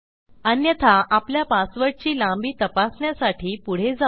अन्यथा आपल्या पासवर्डची लांबी तपासण्यासाठी पुढे जाऊ